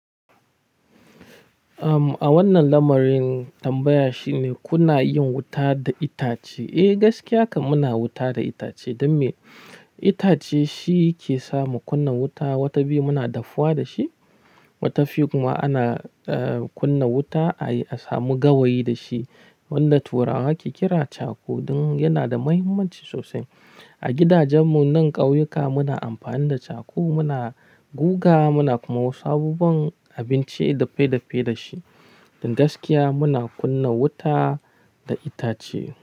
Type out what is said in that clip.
A wannan lamarin tambaya shine kuna yin wuta da itace? Eh, gaskiyakam muna wuta da itace. Don me itace shi ke samu kunna wuta. Wata biyu muna dafuwa da shi. Wata fi kuma ana kunna wuta a yi a samu gawayi da shi. Wanda turawa ke kira charcoal. Don yana da mahimmanci sosai. A gidajen mu nan ƙauyuka muna amfani da charcoal muna guga muna kuma wasu abubuwan abinci dafe dafe da shi. Don gaskiya muna kunna wuta da itace.